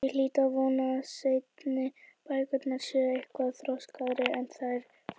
Ég hlýt að vona að seinni bækurnar séu eitthvað þroskaðri en þær fyrri.